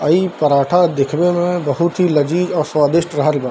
अ इ पराठा देखने में बहुत ही लजीज और स्वादिस्ट रहल बा।